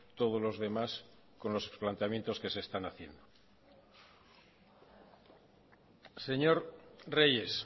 todos los demás con los planteamientos que se están haciendo señor reyes